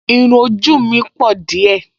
Irún ojú mi pọ̀ díẹ̀